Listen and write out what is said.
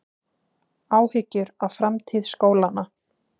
Áhyggjur af framtíð skólanna